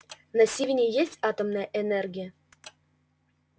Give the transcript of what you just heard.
на сивенне есть атомная энергия